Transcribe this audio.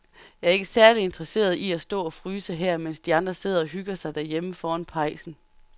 Jeg er ikke særlig interesseret i at stå og fryse her, mens de andre sidder og hygger sig derhjemme foran pejsen.